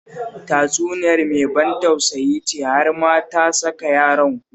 Tatsuniyar mai ban tausayi ce, har ma ta saka yaran kuka